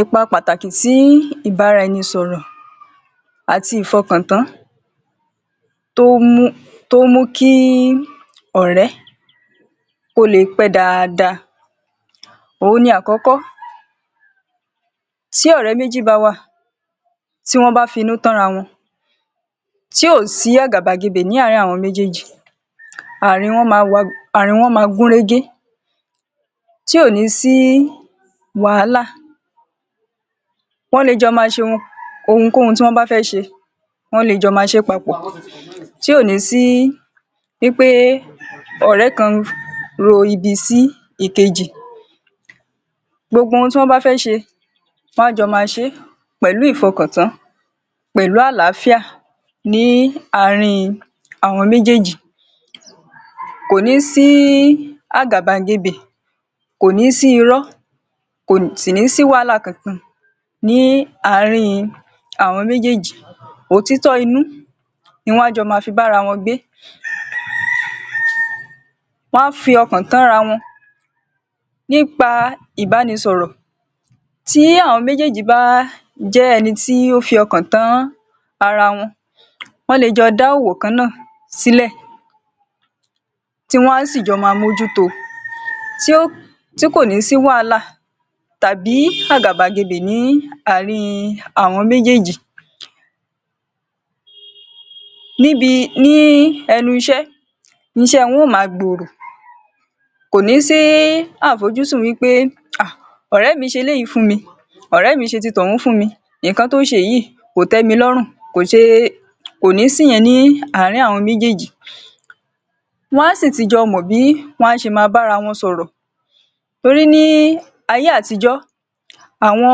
Ipa pàtàkì tí ìbára-ẹnìsọ̀rọ̀ àti ìfọkàntán tó mú tó mú kí ọ̀rẹ́ kó le pẹ́ dáadáa. Ohun ní àkókò tí ọ̀rẹ́ méjì bá wà, tí wọ́n bá finú tán ra wọn, tí ò sí àgàbàgebè ní àárín àwọn méjèèjì, àárín wọ́n ma àárín wọn máa gún régé, tí ò ní sí wàhálà. Wọ́n le jọ máa ṣohun ohunkóhun tí wọ́n bá fẹ́ ṣe, wọ́n le jọ máa ṣe papọ̀ tí ò ní sí wí pé ọ̀rẹ́ kan ro ibi sí ìkejì. Gbogbo ohun tí wọ́n bá fẹ́ ṣe, wọn á jọ máa ṣe pẹ̀lú ìfọkàntán, pẹlú àlàáfíà ní àárín àwọn méjèèjì. Kò ní sí àgàbàgebè, kò ní sí irọ́, kò sì ní sí wàhálà kọ̀ọ̀kan ní àárín àwọn méjèèjì. Òtítọ́ inú ni wọn á jọ máa fi bára wọn gbé. Wọn á fi ọkàn tán ra wọn nípa ìbánisọ̀rọ̀. Tí àwọn méjèèjì bá jẹ́ ẹni tí ó fi ọkàn tán ara wọn, wọ́n le jọ dá òwò kan náà sílẹ̀, tí wọn á sì jọ máa mójú to tí kò ní sí wàhálà tàbí àgàbàgebè ní àárín àwọn méjèèjì. Níbi ní ẹnu iṣẹ́, iṣẹ́ wọn yóò máa gbòòrò kò ní sí àfojúsùn wí pé um ọ̀rẹ́ mi ṣe lé yìí fún mi, ọ̀rẹ́ mi ṣe ti tọ̀hún fún mi, nǹkan tó ń ṣe yìí kò tẹ́mi lọ́run, kò ṣe. Kò ní síyẹn ní àárín àwọn méjèèjì, wọn á sì tì jọ mọ̀ bí wọn á ṣe máa bára wọn sọ̀rọ̀ torí ní ayé-àtijó, àwọn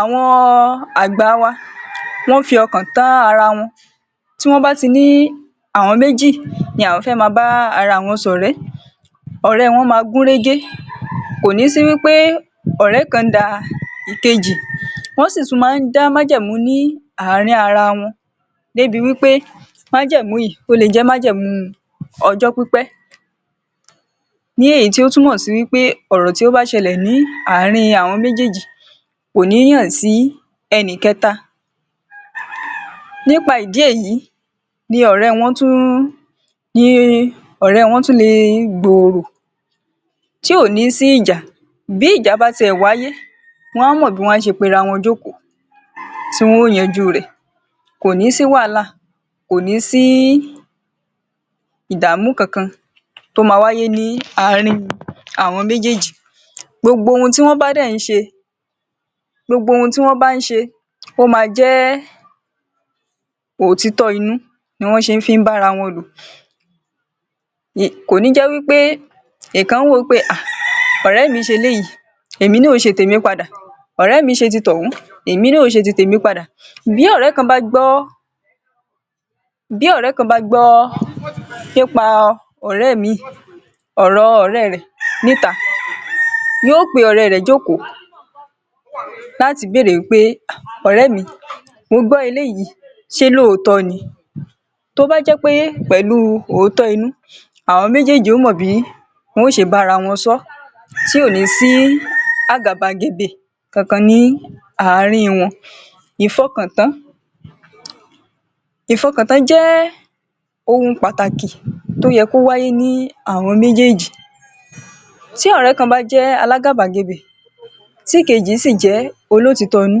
àwọn àgbà a wa wọ́n ń fọkàn tán ara wọn. Tí wọ́n bá ti ní àwọn méjì ni àwọn fẹ́ máa bá ara wọn ṣọ̀rẹ́, ọ̀rẹ́ wọ́n máa gún régé, kò ní sí wí pé ọ̀rẹ́ kan ń da ìkejì. Wọ́n sì tún máa ń dá májẹ̀mú ní àárín ara wọn débi wí pé májẹ̀mú yìí, ó lè jẹ́ májẹ̀mú ọjọ́ pípẹ́. Ní èyí tí ó túmọ̀ sí pé ọ̀rọ̀ tí ó bá ṣẹlẹ̀ ní àárín àwọn méjèèjì, kò ní hàn sí ẹni kẹ́ta. Nípa ìdí èyí ni ọ̀rẹ́ wọ́n tún ní ọ̀rẹ́ wọn tún le gbòòrò, tí ò ní sí ìjà. Bí ìjà bá ti ẹ̀ wáyé, wọn á mọ̀ bí wọn á ṣe pera wọn jókòó tí wọ́n ó yanjú rẹ̀. Kò ní sí wàhálà, kò ní sí ìdààmú kọ̀ọ̀kan tó máa wáyé ní àárín àwọn méjèèjì. Gbogbo ohun tí wọ́n bá dẹ̀ ń ṣe, gbogbo ohun tí wọ́n bá ń ṣe, ó máa jẹ́ òtítọ́ inú ni wọ́n ṣe fi ń bára wọn lò. Kò ní jẹ wí pé ìkan wò wí pé um ọ̀rẹ́ mi ṣe eléyìí, èmi náà yóò ṣe tèmi padà, ọ̀rẹ́ mi ṣe ti tọ̀hún, èmi náà yóò ṣe ti tèmi padà. Bí ọ̀rẹ́ kan bá gbọ́ bí ọ̀rẹ́ kan bá gbọ́ nípa ọ̀rẹ́ míì ọ̀rọ ọ̀rẹ́ rẹ̀ níta, yóò pe ọ̀rẹ́ rẹ̀ jókòó láti béèrè wí pé: ọ̀rẹ́ mi mo gbó eléyìí se lóòótọ́ ni? Tó bá jẹ́ pé pẹ̀lú òótọ́ inú, àwọn méjèèjì yóò mọ̀ bí wọn ó ṣe bára wọn sọ́ tí ò ní sí àgàbàgebè kan kan ní àárín wọn. Ìfọkàntán Ìfọkàntán jẹ́ ohùn pàtàkì tó yẹ kó wáyé ní àwọn méjèèjì. Tí ọ̀rẹ́ kan bá jẹ́ alágàbàgebè, tí ìkejì sì jẹ́ olótìítọ́ inú,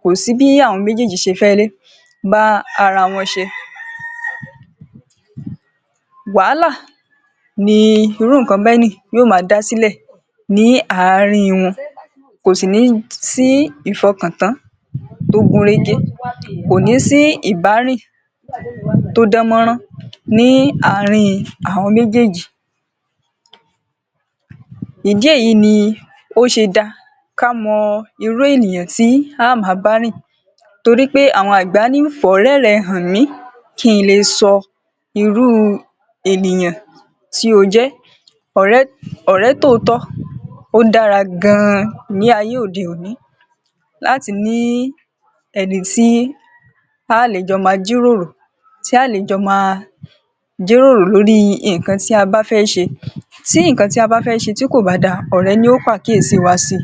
kò sí bí àwọn méjèèjì ṣe fẹ́ bá ara wọn ṣe. Wàhálà ni irú nǹkan bẹ́ẹ̀ ni yóò máa dá sílẹ̀ ní àárín wọn, kò sì ní sí ìfọkàntán tó gún régé, kò ní sí ìbárìn tó dán mọ́rán ní àárín àwọn méjèèjì. Ìdí èyí ni ó ṣe da ká mọ irú ènìyàn tí a á máa bá rìn torí pé àwọn àgbà ní: “fọ̀rẹ́ rẹ hàn mí, ki n lè sọ irú ènìyàn tí ó jẹ́”. Ọ̀rẹ́ ọ̀rẹ́ tòótọ́ ó dára gan-an ní ayé òde-òní láti ní ẹni tí ta á lè jọ máa jíròrò, tí a á lè jọ máa jíròrò lórí nǹkan tí a bá fẹ́ ṣe. Tí nǹkan tí a bá fẹ́ ṣe tí kò bá dá ọ̀rẹ́ ni yóò pàkíyèsí wa si.